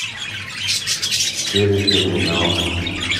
через терминал